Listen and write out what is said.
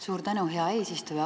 Suur tänu, hea eesistuja!